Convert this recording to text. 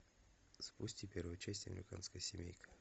запусти первую часть американская семейка